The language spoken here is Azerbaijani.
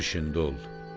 Öz işində ol.